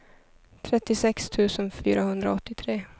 trettiosex tusen fyrahundraåttiotre